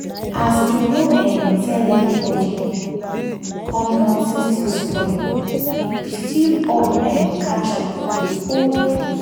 as im no um tell anybody come notin still spoil we still up um catch up with old cruise.